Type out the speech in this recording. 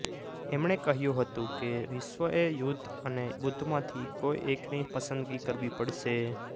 એમણે કહ્યું હતું કે વિશ્વએ યુધ્ધ અને બુદ્ધ માંથી કોઈ એકની પસંદગી કરવી પડશે